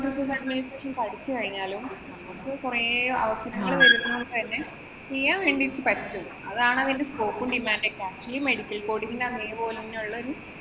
resource administration പഠിച്ചു കഴിഞ്ഞാലും ഇപ്പൊ കുറേ അവസരങ്ങള്‍ വരുന്നോണ്ട് തന്നെ ചെയ്യാന്‍ വേണ്ടീട്ട് പറ്റും. അതാണ് അതിന്‍റെ scope ഉം, demand ഒക്കെ. ഈ medical coding ന് അതെപോലെ തന്നേയുള്ളൊരു